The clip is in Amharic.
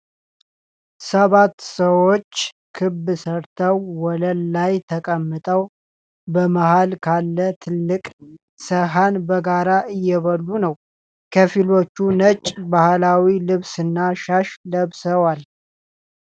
ሰባት ሰዎች ክብ ሰርተው ወለል ላይ ተቀምጠው፣ በመሃል ካለ ትልቅ ሠሀን በጋራ እየበሉ ነው። ከፊሎቹ ነጭ ባህላዊ ልብስና ሻሽ ለብሰዋል።